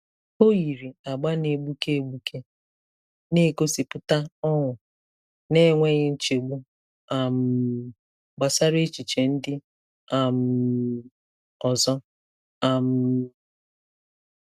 O yiri agba na-egbuke egbuke, na-egosipụta ọṅụ n'enweghị nchegbu um gbasara echiche ndị um ọzọ. um